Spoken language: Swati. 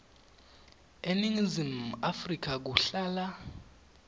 eningizimu afrika kuhlala